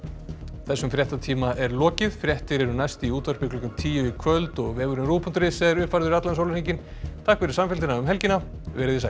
þessum fréttatíma er lokið fréttir eru næst í útvarpi klukkan tíu í kvöld og vefurinn ruv punktur is er uppfærður allan sólarhringinn takk fyrir samfylgdina um helgina verið þið sæl